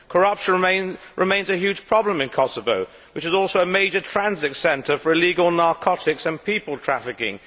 Corruption remains a huge problem in Kosovo, which is also a major transit centre for illegal narcotics and people trafficking.